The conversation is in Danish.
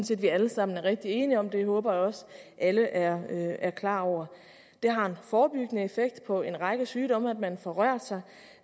set vi alle sammen er rigtig enige om det håber jeg også alle er klar over det har en forebyggende effekt på en række sygdomme at man får rørt sig